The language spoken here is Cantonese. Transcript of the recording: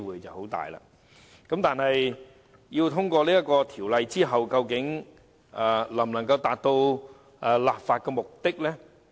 《條例草案》獲通過後，究竟能否達到其立法目的？